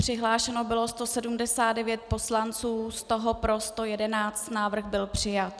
Přihlášeno bylo 179 poslanců, z toho pro 111, návrh byl přijat.